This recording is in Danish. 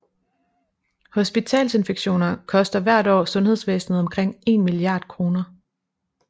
Hospitalsinfektioner koster hvert år sundhedsvæsenet omkring 1 milliard kroner